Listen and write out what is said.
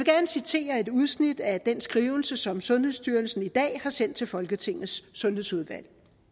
citere et udsnit af den skrivelse som sundhedsstyrelsen i dag har sendt til folketingets sundhedsudvalg